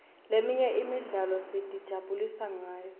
leminye imidlalo sitijabulisa ngayo